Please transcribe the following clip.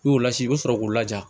N'i y'o lasigi i bɛ sɔrɔ k'o laja